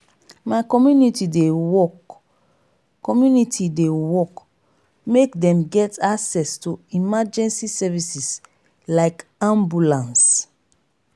my community dey work community dey work make dem get access to emergency services like ambulance.